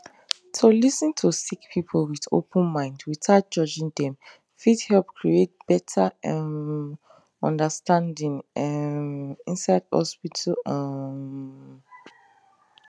to lis ten to sick people with open mind without judging them fit help create better um understanding um inside hospital um